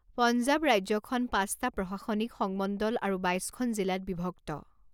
পঞ্জাৱ ৰাজ্যখন পাঁচটা প্ৰশাসনিক সংমণ্ডল আৰু বাইশখন জিলাত বিভক্ত।